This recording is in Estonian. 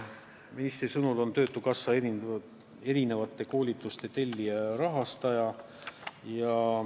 Ministri sõnul on töötukassa erinevate koolituste tellija ja rahastaja.